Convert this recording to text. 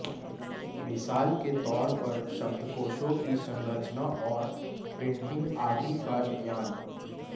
मिसाल के तौर पर शब्दकोशों की संरचना और प्रिंटिंग आदि का ज्ञान